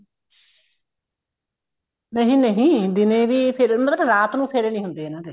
ਨਹੀਂ ਨਹੀਂ ਦਿਨੇ ਵੀ ਫੇਰੇ ਮਤਲਬ ਰਾਤ ਨੂੰ ਫੇਰੇ ਨੀ ਹੁੰਦੇ ਇਹਨਾ ਦੇ